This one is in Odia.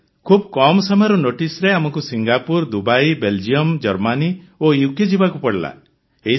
ସାର୍ ଖୁବ୍ କମ୍ ସମୟର ନୋଟିସରେ ଆମକୁ ସିଙ୍ଗାପୁର ଦୁବାଇ ବେଲଜିୟମ୍ ଜର୍ମାନୀ ଓ ୟୁକେ ଯିବାକୁ ପଡ଼ିଲା